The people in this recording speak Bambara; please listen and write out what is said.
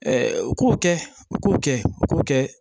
u k'o kɛ u k'o kɛ u k'o kɛ